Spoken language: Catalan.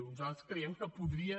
nosaltres creiem que podria